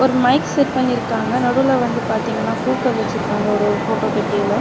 ஒரு mic set பண்ணிருக்காங்க. நடுவுல வந்து பாத்தீங்கன்னா பூக்கள் வச்சிருக்காங்க. ஒரு ஒரு போட்டோவுக்கு கீழ.